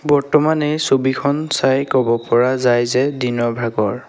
বৰ্তমান এই ছবিখন চাই ক'ব পৰা যায় যে দিনৰ ভাগৰ।